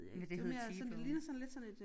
Men det hedder T-bone